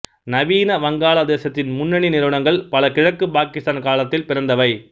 நவீன வங்காள தேசத்தின் முன்னணி நிறுவனங்கள் பல கிழக்கு பாகிஸ்தான் காலத்தில் பிறந்தவை